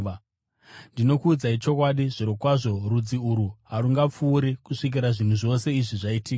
Ndinokuudzai chokwadi, zvirokwazvo rudzi urwu harungapfuuri kusvikira zvinhu zvose izvi zvaitika.